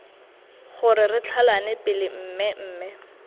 gore re tlhalane pele mmemme